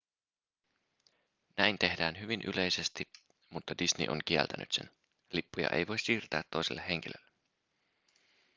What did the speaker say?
näin tehdään hyvin yleisesti mutta disney on kieltänyt sen lippuja ei voi siirtää toiselle henkilölle